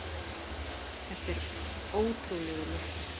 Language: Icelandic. Það er ótrúlegur léttir.